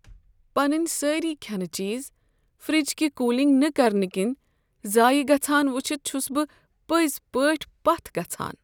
پنٕنۍ سٲری کھینہٕ چیز فرج كہِ كوٗلِنگ نہٕ كرنہٕ كِنۍ ضایع گژھان وٕچھِتھ چھُس بہٕ پٔزۍ پٲٹھۍ پتھ گژھان۔